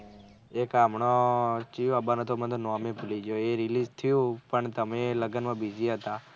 એક હમણાં છે મને મેં તો નોમ એ ભૂલી ગયો એ release થયું પણ તમે લગન માં busy હતા.